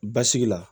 Basigi la